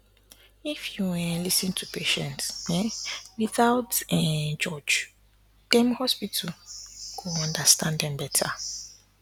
if you um lis ten to patient um without um judge dem hospital go understand dem better